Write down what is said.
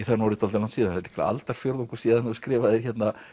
það er orðið dálítið langt síðan líklega aldarfjórðungur síðan þú skrifaðir